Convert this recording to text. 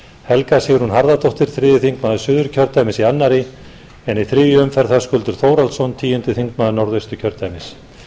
helga sigrún harðardóttir þriðji þingmaður suðurkjördæmis í annarri en í þriðju umferð höskuldur þórhallsson tíundi þingmaður norðausturkjördæmis